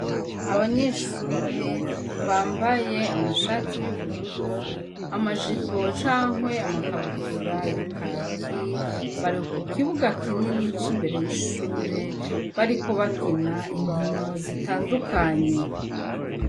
Abanyeshure bambaye amashati y'ubururu amajipo cankwe amakabutura ya kaki bareka kibuga kinini co imbere y'ishure bariko bakina inkino zitandukanye.